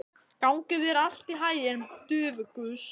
Gangi þér allt í haginn, Dufgus.